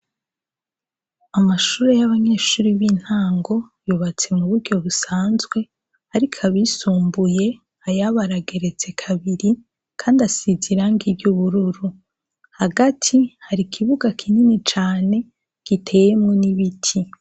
Amashure y'abanyeshure b'intango yubatse mu buryo busanzwe. Ariko abisumbuye, ayabo arageretse kabiri kandi asize irangi ry'ubururu. Hagati, hari ikibuga kinini cane giteyemwo n'ibiti.